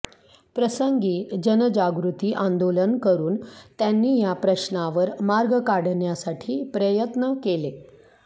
प्रसंगी जनजागृती आंदोलन करून त्यांनी या प्रश्नावर मार्ग काढण्यासाठी प्रयत्न केले